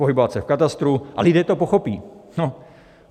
Pohybovat se v katastru a lidé to pochopí.